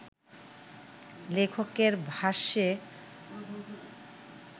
লেখকের ভাষ্যে